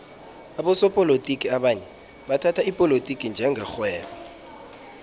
abosopolotiki abanye bathhatha ipolotiki njenge rhwebo